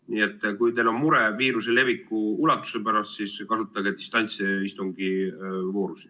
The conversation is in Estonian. Nii et kui teil on mure viiruse leviku ulatuse pärast, siis kasutage distantsistungi voorusid.